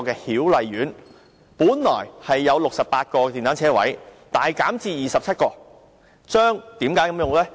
曉麗苑本來有68個電單車車位，現時大減至27個，為何這樣做呢？